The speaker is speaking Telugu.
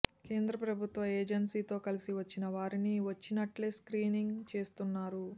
కేంద్ర ప్రభుత్వ ఏజెన్సీతో కలసి వచ్చిన వారిని వచ్చినట్టే స్క్రీనింగ్ చేస్తున్నరు